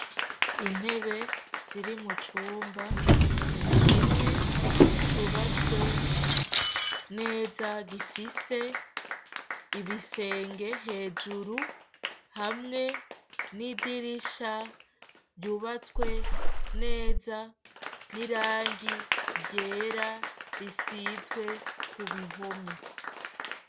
Intebe ziri mu cumba kimwe cubatswe neza gifise ibisenge hejuru hamwe n'idirisha ryubatswe neza n'irangi ryera risize ku bihome.